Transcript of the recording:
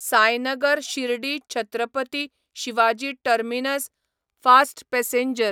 Sainagar Shirdi Chhatrapati Shivaji terminus fast passenger